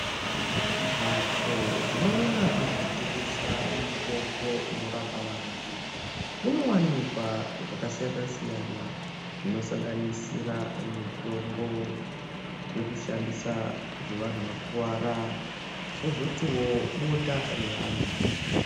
Mhatso dzinoona ngezvekutengesa mitombo inorapa vantu munowanikwa zvakasiyanasiyana zvinosanganisira mitombo zvekushandisa zvevanhu vakuvara kwozotiwo bota reana.